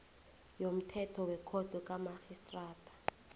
yomthetho wekhotho kamarhistrada